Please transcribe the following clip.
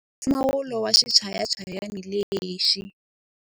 Yingisela mpfumawulo wa xichayachayani lexi.